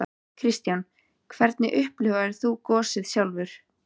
Kristján: Hvernig upplifðir þú gosið sjálfur?